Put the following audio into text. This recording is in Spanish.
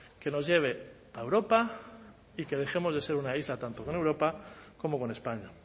que nos lleve a europa y que dejemos de ser una isla tanto con europa como con españa